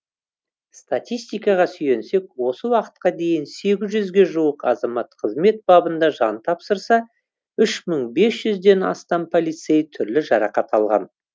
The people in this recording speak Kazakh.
статистикаға сүйенсек осы уақытқа дейін сегіз жүзге жуық азамат қызмет бабында жан тапсырса үш мың бес жүзден астам полицей түрлі жарақат алған